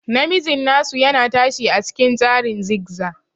Namijin asu yana tashi a cikin tsarin zigzaz.